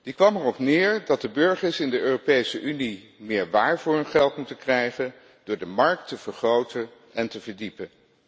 Die kwam erop neer dat de burgers in de Europese Unie meer waar voor hun geld moeten krijgen door de markt te vergroten en te verdiepen.